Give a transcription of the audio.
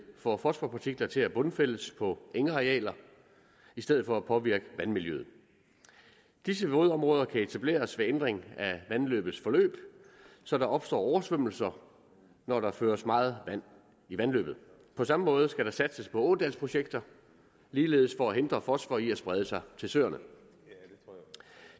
får fosforpartikler til at bundfældes på engarealer i stedet for at påvirke vandmiljøet disse vådområder kan etableres ved ændring af vandløbets forløb så der opstår oversvømmelser når der føres meget vand i vandløbet på samme måde skal der satses på ådalsprojekter ligeledes for at hindre fosfor i at sprede sig til søerne